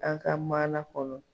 An ka maana kɔnɔ.